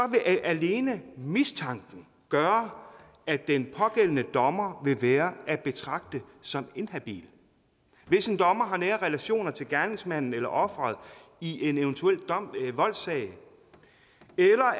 vil alene mistanken gøre at den pågældende dommer vil være at betragte som inhabil hvis en dommer har nære relationer til gerningsmanden eller offeret i en eventuel voldssag